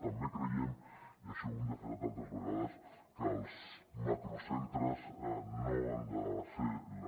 també creiem i això ho hem defensat altres vegades que els macrocentres no han de ser la